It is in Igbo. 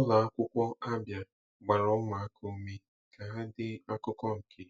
Ụlọ akwụkwọ Abia gbara ụmụaka ume ka ha dee akụkọ nke